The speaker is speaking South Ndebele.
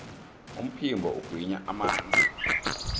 umphimbo ugwinya amanzi